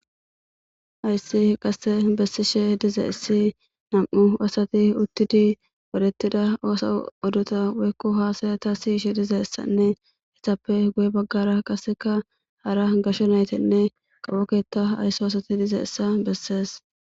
ayssi qasse bessishe diza issi nam7u asati uttidi parettida oosa odota woykko haasaya ta siyishe dize ssanne hessappe guye baggara qaseka hara gasho naytenne qapoketa aysso asati dize issa bessees